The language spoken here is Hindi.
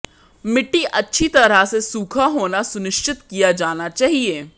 मिट्टी अच्छी तरह से सूखा होना सुनिश्चित किया जाना चाहिए